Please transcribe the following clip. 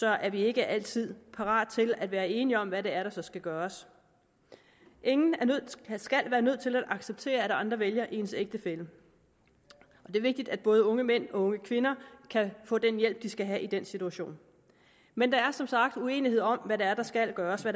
er vi ikke altid parate til at være enige om hvad det er der så skal gøres ingen skal være nødt til at acceptere at andre vælger ens ægtefælle og det er vigtigt at både unge mænd og unge kvinder kan få den hjælp de skal have i den situation men der er som sagt uenighed om hvad det er der skal gøres og